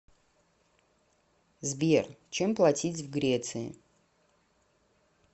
сбер чем платить в греции